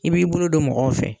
I b'i bolo don mɔgɔw fɛ.